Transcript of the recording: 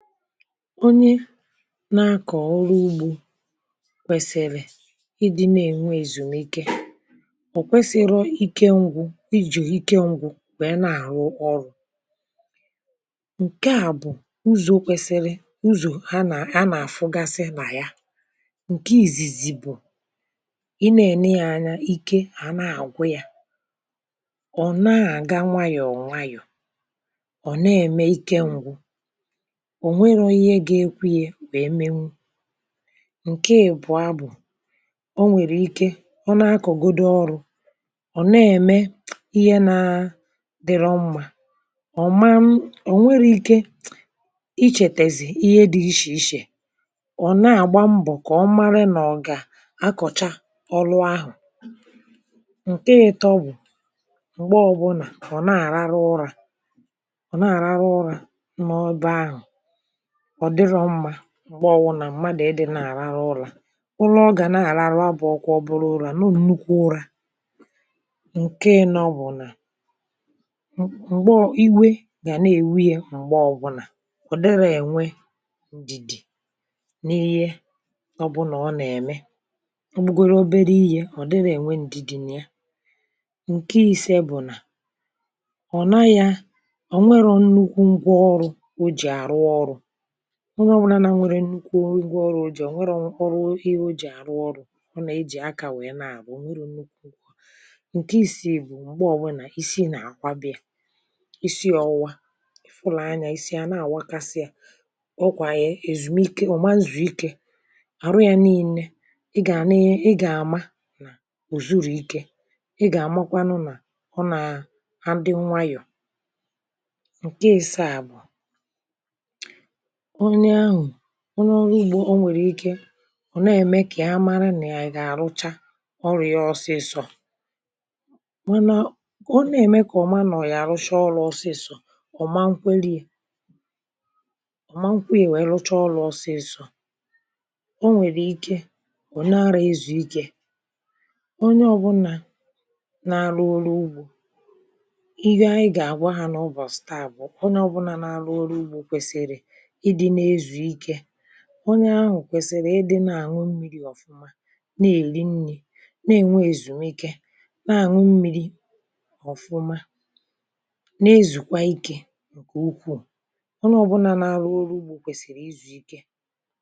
onye na-akọ̀ ọrụ ugbȯ kwèsìrì ịdị̇ na-ènwe èzùmike um chọ̀ kwesiri ike ṅgwụ̇ ijù ike ṅgwụ̇ nwère na-àrụ ọrụ̇ ǹke à bụ̀ ụzọ̇ kwèsìri um ụzọ̀ ha nà ha nà-àfụgasị nà ya ǹke ìzìzì bụ̀ ị nà-èneghị ya anya ike à na-àgwụ yȧ ọ̀ na-àga nwayọ̀ọ̀ nwayọ̀ um ǹke èbụ̀ọ bụ̀ ọ nà-arara ụrȧ ọ̀ na-àrara ụrȧ ọ̀ dịrọ mmȧ um m̀gba ọwụnà mmadụ̀ ịdị̇ na-àrarụ ụlȧ ụlọ gà na-àrarụ abụ̇ ọkwụ um ọbụrụ ụlȧ n’ònukwu ụrȧ ǹke ịnọ bụ̀ nà m̀gbe iwe gà na-èwe yȧ m̀gba ọwụnà um ọ̀ dịrọ ènwe ǹdìdì n’ihie ọbụnà ọ nà-ème ọ bụgara obere ihė ọ̀ dịrọ ènwe ǹdìdì nà ya um ǹke ise bụ̀ nà ọ̀ na yȧ ọ̀ nwere nnukwu ngwa ọrụ̇ um o jì àrụ ọrụ̇ nwa ọbụlà na nwere nnukwu ngwa ọrụ̇ ji ọ̀ nwere ọrụ ihe o jì àrụ ọrụ̇ um ọ nà e jì akà nwèe na-àbụ o nweru̇ nnukwu ǹke isi jì bụ̀ m̀gbe ọ̀bụna isi nà-àkwa bi̇ȧ isi um ọ̀wụwa fụlà anyȧ isi ya na-àwakasị yȧ ọ kwà è èzùmike um ọ̀ mazùrù ike àrụ ya niilė ị gà àna ị gà àma o zuru ikė um ị gà àmakwanu nà ọ nà à ndị nwayọ̀ ǹke ịsȧ à bụ onye ọrụ ugbȯ um onye à ème kà ya mara nà ya yà à rụchaa ọrụ̇ ya ọsịsọ̇ manȧ ọ na-ème kà ọ̀ma um nọ̀ọ̀ yà rụshaa ọrụ̇ ọsịsọ̇ ọ̀ma nkwe lee ọ̀ma nkwe yȧ um nwèe rụchaa ọrụ̇ ọsịsọ̇ o nwèrè ike onye ọbụnà na-arụ oru ugbȯ um ihe à anyị gà-àgwa hȧ n’ụbọ̀ staà bù onye ọbụna na-arụ oru ugbȯ um kwèsìrì one ahụ̀ kwèsị̀rị̀ ịdị̇ na-àñụ mmiri ọ̀fụma um na-èli nni̇ na-enwe èzùnweke um na-àñụ mmiri̇ ọ̀fụma na-ezùkwa ikė ǹkè ukwuù um ọnụ ọ̀bụ̀là na-arụ ọrụ ugbȯ kwèsị̀rị̀ ịzụ̀ ike